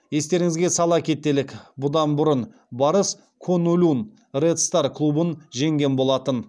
естеріңізге сала кетелік бұдан бұрын барыс куньлунь ред стар клубын жеңген болатын